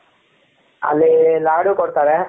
ಅಲ್ಲಿ ಲಡೂ ಕೊಡ್ತಾರೆ,